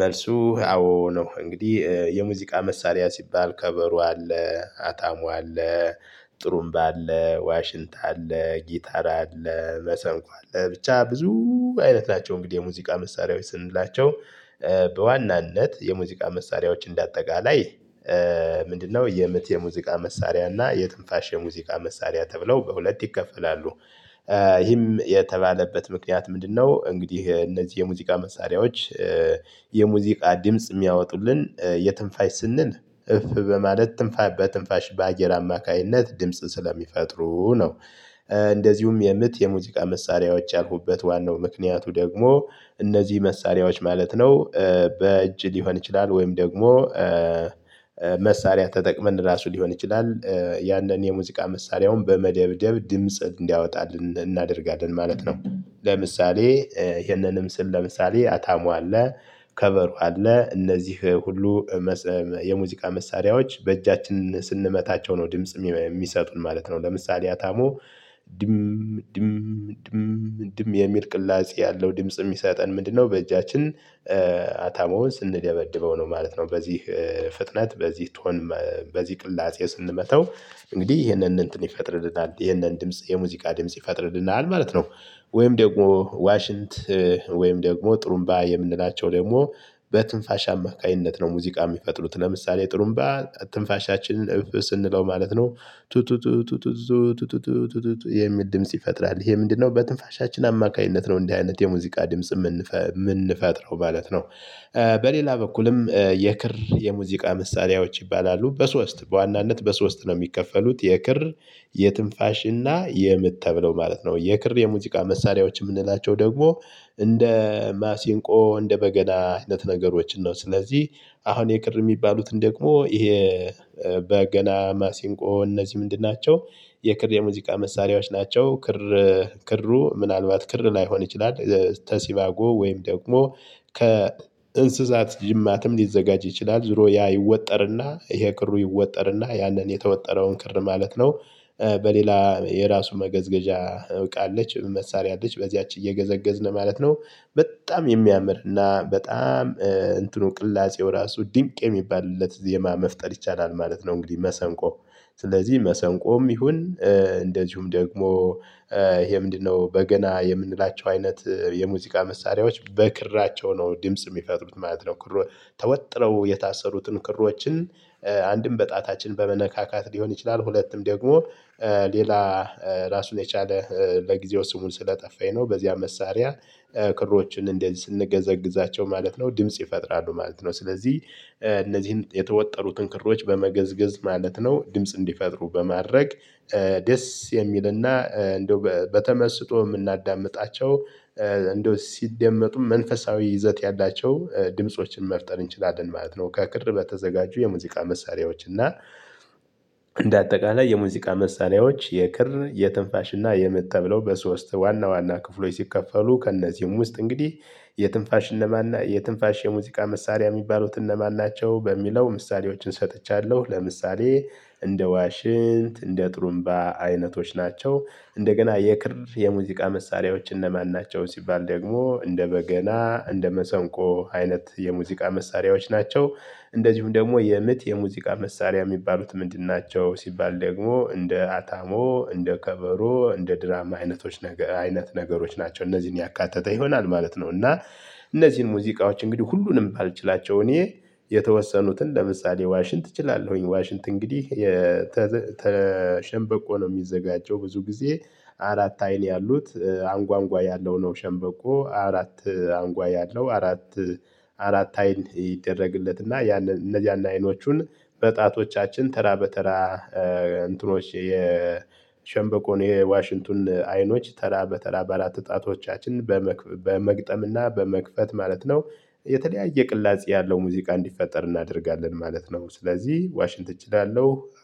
መልሱ አዎ ነው እንግዲህ የሙዚቃ መሳሪያ ሲባል ከበሮ አለ አታሞ አለ ጥሩምባ አለ ዋሽንት አለ ጊታር አለ መሰንቆ አለ ብቻ ብዙ አይነት ናቸው። እንግዲህ የሙዚቃ መሳሪያዎች ስንላቸው በዋናነት የሙዚቃ መሳሪያዎች እንደ አጠቃላይ። ምንድነው? የምት የሙዚቃ መሳሪያ እና የትንፋሽ የሙዚቃ መሳሪያ ተብለው በሁለት ይከፈላሉ። ይህም የተባለበት ምክንያት ምንድነው? እንግዲህ እነዚህ የሙዚቃ መሳሪያዎች የሙዚቃ ድምጽ የሚያወጡልን የትንፋሽ ስንል እፍ በማለት በትንፋሽ በአየር አማካኝነት ድምጽ ስለሚፈጥሩ ነው። እንደዚሁም የምት የሙዚቃ መሳሪያዎች ያልኩበት ዋናው ምክንያቱ ደግሞ እነዚህ መሳሪያዎች ማለት ነው። በእጅ ሊሆን ይችላል ወይም ደግሞ። መሳሪያ ተጠቅመን ራሱ ሊሆን ይችላል ያንን የሙዚቃ መሳሪያውን በመደብደብ ድምጽ እንዲያወጣልን እናደርጋለን ማለት ነው። ለምሳሌ ይሄንንም ስል ለምሳሌ አታሞ ከበሮ አለ እነዚህ ሁሉ የሙዚቃ መሳሪያዎች በእጃችን ስንመታቸው ነው ድምጽ የሚሰጡን ማለት ነው። ለምሳሌ አታሞ ድም ድም ድም ድም የሚል ቅላጼ ያለው ድምጽ የሚሰጠን ምንድነው? በእጃችን አታሞውን ስንደበድበው ነው ማለት ነው። በዚህ ፍጥነት በዚህ ቶን በዚህ ቅላጼ ስንመታው እንግዲህ ይሄንን እንትን ይፈጥርልናል ይሄንን ድምጽ የሙዚቃ ድምጽ ይፈጥርልናል ማለት ነው። ወይም ደግሞ ዋሽንት ወይም ደግሞ ጥሩንባ የምንላቸው ደግሞ በትንፋሽ አማካኝነት ነው ሙዚቃ የሚፈጥሩት ለምሳሌ ጥሩምባ ትንፋሻችንን እፍ ስንለው ማለት ነው። ቱ ቱ ቱ ቱ የሚል ድምጽ ይፈጥራል ይሄ ምንድነው? በትንፋሻችን አማካኝነት ነው እንደዚህ አይነት የሙዚቃ ድምጽ የምንፈጥረው ማለት ነው። በሌላ በኩልም የክር የሙዚቃ መሳሪያዎች ይባላሉ በሶስት በዋናነት በሶስት ነው የሚከፈሉት የክር። የትንፋሽ እና የምት ተብለው ማለት ነው። የክር የሙዚቃ መሳሪያዎች የምንላቸው ደግሞ እንደ ማሲንቆ እንደ በገና አይነት ነገሮችን ነው። ስለዚህ አሁን የክር የሚባሉትን ደግሞ ይሄ በገና ማሲንቆ እነዚህ ምንድን ናቸው? የክር የሙዚቃ መሳሪያዎች ናቸው። ክሩ ምናልባት ክር ላይሆን ይችላል። ከሲባጎ ወይም ደግሞ ከእንስሳት ጅማትም ሊዘጋጅ ይችላል ዞሮ ያ ይወጠርና ይሄ ክሩ ይወጠርና ያንን የተወጠረውን ክር ማለት ነው። በሌላ የራሱ መገዝገዣ እቃ አለች መሳሪያ አለች በዚያች እየገዘገዝን ማለት ነው። በጣም የሚያምር እና በጣም እንትኑ ቅላጼው ራሱ ድንቅ የሚባልለት ዜማ መፍጠር ይቻላል ማለት ነው። እንግዲህ መሰንቆ ስለዚህ መሰንቆም ይሁን እንደዚሁም ደግሞ ይሄ ምንድነው? በገና የምንላቸው አይነት የሙዚቃ መሳሪያዎች በክራቸው ነው ድምጽ የሚፈጥሩት ማለት ነው። ተወጥረው የታሰሩትን ክሮችን አንድም በጣታችን በመነካካት ሊሆን ይችላል ሁለቱም ደግሞ ሌላ ራሱን የቻለ ለጊዜው ስሙን ስለጠፋኝ ነው በዚያ መሳሪያ ክሮችን እንደዚህ ስንገዘግዛቸው ማለት ነው ድምጽ ይፈጥራሉ ማለት ነው። ስለዚህ እነዚህን የተወጠሩትን ክሮች በመገዝገዝ ማለት ነው ድምጽ እንዲፈጥሩ በማድረግ። ደስ የሚልና እንደው በተመስጦ የምናዳምጣቸው እንደው ሲደመጡ መንፈሳዊ ይዘት ያላቸው ድምፆችን መፍጠር እንችላለን ማለት ነው። ከክር በተዘጋጁ የሙዚቃ መሳሪያዎች እና እንደ አጠቃላይ የሙዚቃ መሳሪያዎች የክር የትንፋሽ እና የምት ተብለው በሶስት ዋና ዋና ክፍሎች ሲከፈሉ ከእነዚህም ውስጥ እንግዲህ። የትንፋሽ የሙዚቃ መሳሪያ የሚባሉት እነማን ናቸው? በሚለው ምሳሌዎችን ሰጥቻለሁ ለምሳሌ እንደ ዋሽንት እንደ ጥሩምባ አይነቶች ናቸው። እንደገና የክር የሙዚቃ መሳሪያዎች እነማን ናቸው? ሲባል ደግሞ እንደ በገና እንደ መሰንቆ አይነት የሙዚቃ መሳሪያዎች ናቸው። እንደዚሁም ደግሞ የምት የሙዚቃ መሳሪያ የሚባሉት ምንድን ናቸው? ሲባል ደግሞ እንደ አታሞ እንደ ከበሮ እንደ ድራማ አይነቶች አይነት ነገሮች ናቸው እነዚህን ያካተተ ይሆናል ማለት ነው። እና እነዚህን ሙዚቃዎች እንግዲህ ሁሉንም ባልችላቸውም እኔ የተወሰኑትን ለምሳሌ ዋሽንት እችላለሁኝ። ዋሽንት እንግዲህ ከሸንበቆ ነው የሚዘጋጀው ብዙ ጊዜ። አራት አይን ያሉት አንጓ አንጓ ያለው ነው። ሸንበቆ አራት አንጓ ያለው አራት። አራት አይን ይደረግለት እና እነዛን አይኖቹን። በጣቶቻችን ተራ በተራ እንትኖች የሸንበቆውን የዋሽንቱን አይኖች ተራ በተራ በአራት ዕጣቶቻችን። በመግጠም እና በመክፈት ማለት ነው። የተለያየ ቅላጼ ያለው ሙዚቃ እንዲፈጠር እናደርጋለን ማለት ነው። ስለዚህ ዋሽንት ትችላለህ